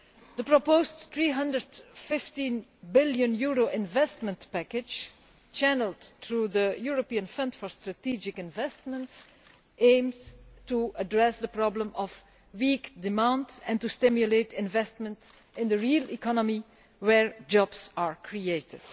The proposed EUR 315 billion investment package channelled through the European Fund for Strategic Investment aims to address the problem of weak demand and to stimulate investment in the real economy, where jobs are created.